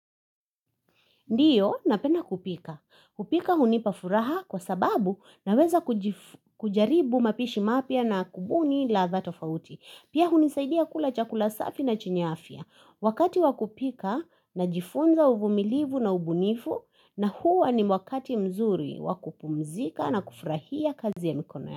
Ndiyo, napenda kupika. Kupika hunipa furaha kwa sababu naweza kuji kujaribu mapishi mapya na kubuni ladha tofauti. Pia hunisaidia kula chakula safi na chenye afya. Wakati wa kupika najifunza uvumilivu na ubunifu na huwa ni wakati mzuri wa kupumzika na kufurahia kazi ya mikono ya.